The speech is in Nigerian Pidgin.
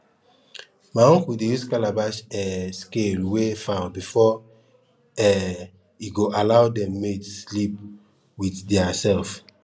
my uncle dey use calabash um scale weigh fowl before um e go allow dem mate sleep with their self